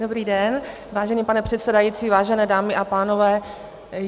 Dobrý den, vážený pane předsedající, vážené dámy a pánové.